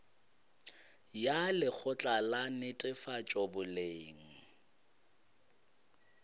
ya lekgotla la netefatšo boleng